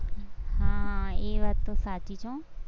હા એ વાત તો સાચી છે.